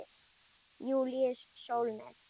Júlíus Sólnes.